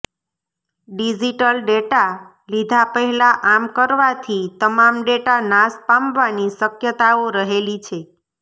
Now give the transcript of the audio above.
digital data લીધા પહેલા આમ કરવાથી તમામ ડેટા નાશ પામવાની શક્યતાઓ રહેલી છે